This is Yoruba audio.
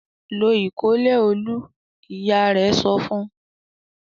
"Lo ìkọ́lẹ̀ Olú!" Ìyá rẹ̀ sọ fún un.